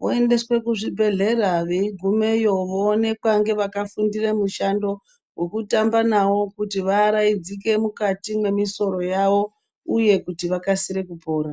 voendeswa kuzvibhedhlera veigumeyo voonekwa ngevakafundira mushando wekutamba nawo kuti vaaraidzike mukati memwisoro yavo uye kuti vakasire kupora .